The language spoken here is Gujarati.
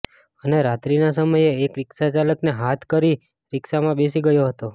અને રાત્રિના સમયે એક રિક્ષા ચાલકને હાથ કરી રિક્ષામાં બેસી ગયો હતો